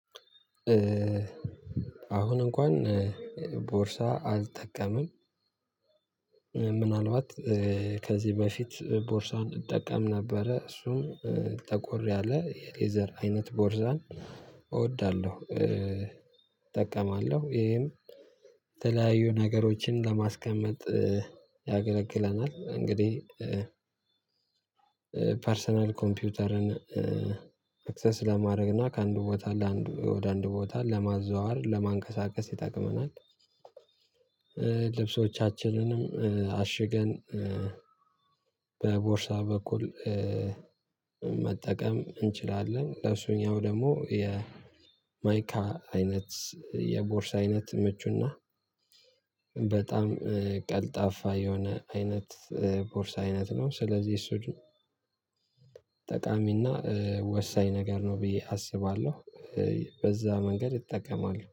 አሁን እንኳን ቦርሳ አልጠቀምም። ምናልባት ከዚህ በፊት ቦርሳን እጠቀም ነበረ እሱም ጠቆር ያለ የሌዘር አይነት ቦርሳን እወዳለሁ። እጠቀማለሁ ይሄም የተለያዩ ነገሮችን ለማስቀመጥ ያገለግለናል እንግዲህ ፐርሰናል ኮምፒውተርን አክሰስ ለማድረግ እና ከአንድ ቦታ ለአንድ ወደ አንድ ቦታ ለማዘዋወር ለማንቀሳቀስ ይጠቅመናል። ልብሶቻችንንም አሽገን በቦርሳ በኩል መጠቀም እንችላለን። ለእሱኛው ደግሞ የማይካ አይነት የቦርሳ አይነት ምቹና በጣም ቀልጣፋ የሆነ አይነት ቦርሳ አይነት ነው። ስለዚህ እሱ ግን ጠቃሚና ወሳኝ ነገር ነው ብዬ አስባለሁ በዛ መንገድ እጠቀማለሁ